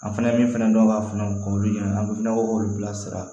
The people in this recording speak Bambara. An fɛnɛ min fana dɔn ka fɔnɔ k'o ɲɛ an bɛ k'olu bila sira